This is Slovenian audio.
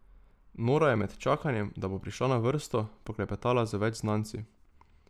Nora je med čakanjem, da bo prišla na vrsto, poklepetala z več znanci.